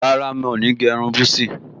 Rárá, mo ní gẹ́ irun búsí